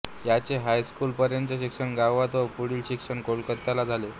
त्यांचे हायस्कूलपर्यंतचे शिक्षण गावात व पुढील शिक्षण कोलकत्याला झाले